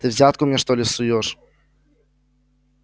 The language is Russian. ты взятку мне что ли суёшь